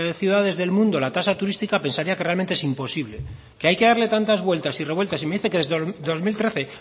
ciudades del mundo la tasa turística pensaría que realmente es imposible que hay que darle tantas vueltas y revueltas y me dice que desde dos mil trece